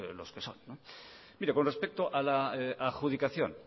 los que son mire con respeto a la adjudicación